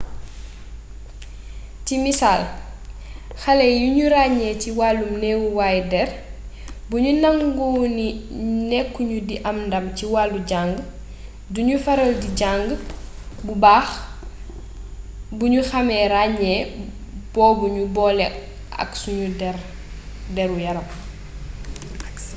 ci misaal xale yuñu ràññee ci wàllum neewaayu dér buñu nangu ni nekku ñu di am ndàm ci walu jang duñu faral di jang bu bax buñu xame ràññee bobu ñu bole ak sen déru yaram